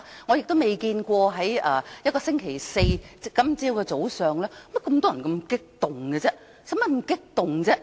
我亦未見過星期四早上會有這麼多表現激動的人，何需這樣激動呢？